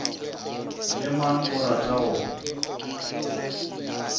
le mang o rata go